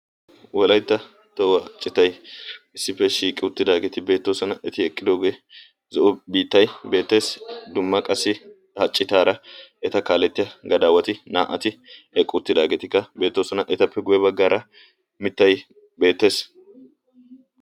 wolaytta tohuwaa ciitay issippe shiiqqi uttidageeti beettoosona. eti eqqidoogee zo'o biittay beettees. dumma qassi ha cittara eta kalettiyaa gadawatti na"ati eqqi uttidaageti beettooosona. ettappe guyye baggaara miittay beettees.